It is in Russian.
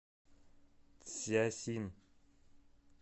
цзясин